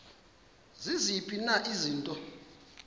ziziphi na izinto